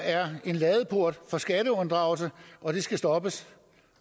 er en ladeport for skatteunddragelse og det skal stoppes